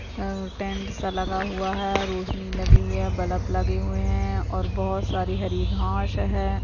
Tent सा लगा हुआ है। रौशनी लगी हुई है बल्ब लगे हुए हैं और बहुत सारी हरी घाश है।